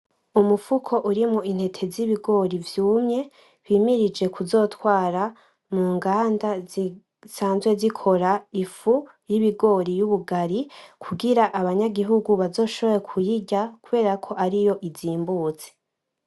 Umufuko urimwo intete zibigori vyumye, bimirije kuzotwara munganda zisanzwe zikora ifu yibigori yubugari, kugira abanyagihugu bazoshobore kuyirya, kuberako ariyo izimbutse.